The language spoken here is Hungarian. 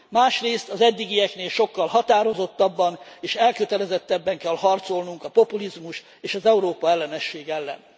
Másrészt az eddigieknél sokkal határozottabban és elkötelezettebben kell harcolnunk a populizmus és az Európa ellenesség ellen.